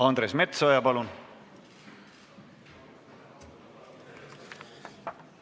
Andres Metsoja, palun!